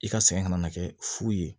I ka sɛgɛn kana na kɛ fu ye